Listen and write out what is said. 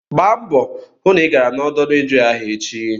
Gbaa mbọ hụ na ị gara n'ọdọ redio ahụ echi!